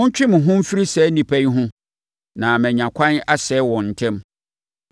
“Montwe mo ho mfiri saa nnipa yi ho na manya ɛkwan asɛe wɔn ntɛm.”